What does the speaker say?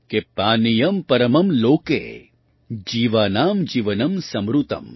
पानियम् परमम् लोके जीवानाम् जीवनम् समृतम